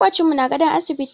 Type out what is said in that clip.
Maƙocinmu na gadon asibiti.